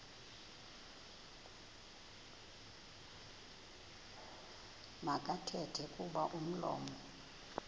makathethe kuba umlomo